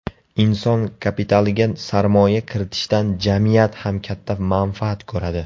Inson kapitaliga sarmoya kiritishdan jamiyat ham katta manfaat ko‘radi.